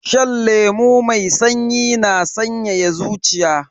Shan lemu mai sanyi na sanyaya zuciya.